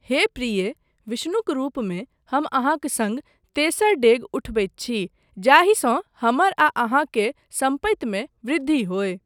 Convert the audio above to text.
हे प्रिये, विष्णुक रूपमे हम अहाँक सङ्ग तेसर डेग उठबैत छी जाहिसँ हमर आ अहाँ के सम्पतिमे वृद्धि होय।